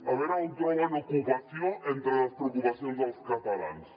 a veure on troben ocupació entre les preocupacions dels catalans